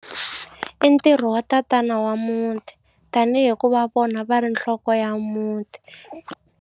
I ntirho wa tatana wa muti tanihi ku va vona va ri nhloko ya muti.